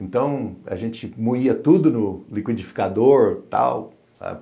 Então, a gente moía tudo no liquidificador, tal, sabe?